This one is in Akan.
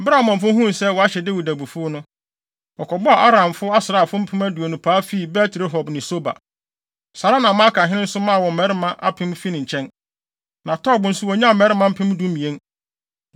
Bere a Amonfo huu sɛ wɔahyɛ Dawid abufuw no, wɔkɔbɔɔ Aramfo asraafo mpem aduonu paa fii Bet-Rehob ne Soba. Saa ara na Maakahene nso maa wɔn mmarima apem fii ne nkyɛn, na Tob nso wonyaa mmarima mpem dumien.